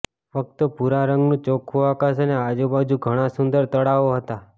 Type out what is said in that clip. ફક્ત ભૂરા રંગનું ચોખ્ખુ આકાશ અને આજુબાજુ ઘણાં સુંદર તળાવો હતાં